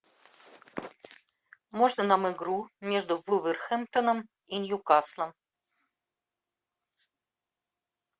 можно нам игру между вулверхэмптоном и ньюкаслом